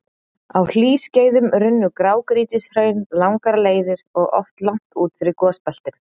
Á hlýskeiðum runnu grágrýtishraun langar leiðir og oft langt út fyrir gosbeltin.